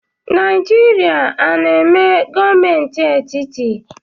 Naijirịa ọ na-eme gọọmenti etiti?